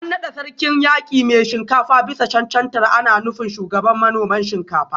An nada Sarkin Yaki Mai Shinkafa bisa cancantar ana nufin Shugaban manoman Shinkafa